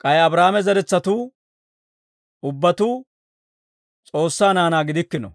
K'ay Abraahaame zeretsatuu ubbatuu S'oossaa naanaa gidikkino.